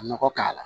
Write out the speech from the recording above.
Nɔgɔ k'a la